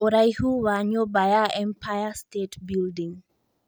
ũraĩhu wa nyũmba ya empire state building